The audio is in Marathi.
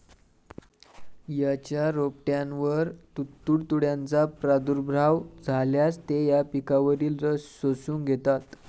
याच्या रोपट्यांवर तुडतुड्यांचा प्रादुर्भाव झाल्यास, ते या पिकावरील रस शोषून घेतात.